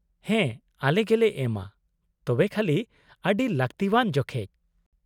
-ᱦᱮᱸ ᱟᱞᱮ ᱜᱮᱞᱮ ᱮᱢᱟ, ᱛᱚᱵᱮ ᱠᱷᱟᱹᱞᱤ ᱟᱹᱰᱤ ᱞᱟᱹᱠᱛᱤᱣᱟᱱ ᱡᱚᱠᱷᱮᱪ ᱾